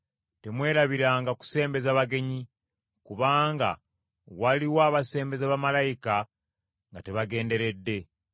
Temwerabiranga kusembeza bagenyi, kubanga waliwo abaasembeza bamalayika nga tebagenderedde.